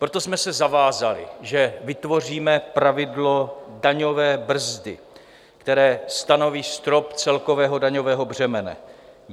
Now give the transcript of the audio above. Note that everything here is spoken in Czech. Proto jsme se zavázali, že vytvoříme pravidlo daňové brzdy, které stanoví strop celkového daňového břemene.